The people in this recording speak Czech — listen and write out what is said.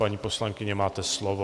Paní poslankyně, máte slovo.